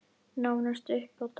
Nánast upp á dag.